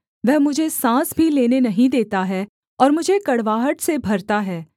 वह मुझे साँस भी लेने नहीं देता है और मुझे कड़वाहट से भरता है